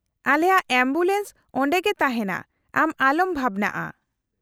ᱼᱟᱞᱮᱭᱟᱜ ambulance ᱚᱸᱰᱮᱜᱮ ᱛᱟᱦᱮᱱᱟ, ᱟᱢ ᱟᱞᱚᱢ ᱵᱷᱟᱵᱱᱟᱜᱼᱟ ᱾